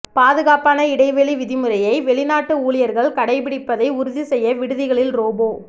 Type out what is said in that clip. பாதுகாப்பான இடைவெளி விதிமுறையை வெளிநாட்டு ஊழியர்கள் கடைப்பிடிப்பதை உறுதி செய்ய விடுதிகளில் ரோபோ